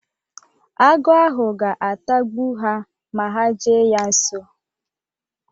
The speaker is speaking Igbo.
Agụ ahụ ga-atagbu ha ma ha jee ya nso